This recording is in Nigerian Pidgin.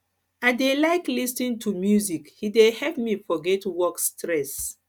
i dey like lis ten to music e dey help me forget work stress